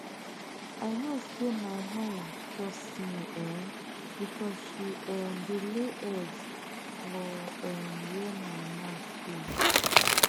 i know say my hen trust me um because she um dey lay egg for um where my mat dey